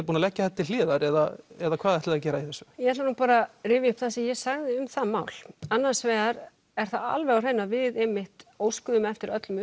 búin að leggja þetta til hliðar eða eða hvað ætlið þið að gera í þessu ég ætla nú bara rifja upp það sem ég sagði um það mál annars vegar er það alveg á hreinu að við einmitt óskuðum eftir öllum